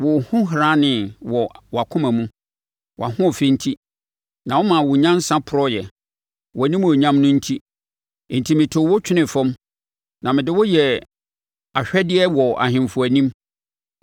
Wo horanee wɔ wʼakoma mu wʼahoɔfɛ enti, na womaa wo nyansa porɔeɛ, wʼanimuonyam no enti. Enti metoo wo twenee fam; na mede wo yɛɛ ahwɛdea wɔ ahemfo anim.